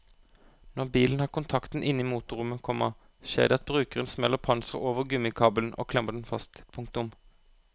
Når bilen har kontakten inne i motorrommet, komma skjer det at brukeren smeller panseret over gummikabelen og klemmer den fast. punktum